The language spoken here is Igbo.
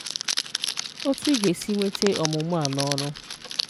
Otu i ga-esi weta ọmụmụ a n’ọrụ: